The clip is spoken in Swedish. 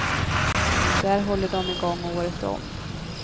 Där håller de i gång året om.